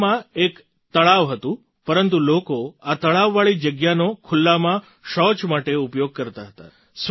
આ ગામમાં એક તળાવ હતું પરંતુ લોકો આ તળાવવાળી જગ્યાનો ખુલ્લામાં શૌચ માટે ઉપયોગ કરતા હતા